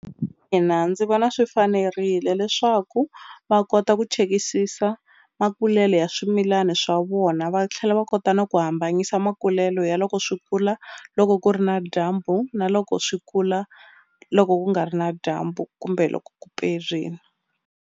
ndzi vona swi fanerile leswaku va kota ku chekisisa makulelo ya swimilani swa vona va tlhela va kota na ku hambanyisa makulelo ya loko swi kula loko ku ri na dyambu na loko swi kula loko ku nga ri na dyambu kumbe loko ku perini.